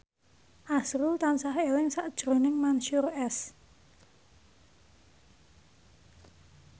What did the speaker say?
azrul tansah eling sakjroning Mansyur S